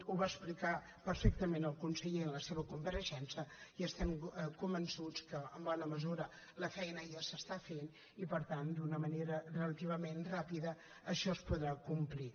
ho va explicar perfectament el conseller en la seva compareixença i estem convençuts que en bona mesura la feina ja s’està fent i per tant d’una manera relativament ràpida això es podrà complir